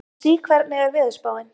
Susie, hvernig er veðurspáin?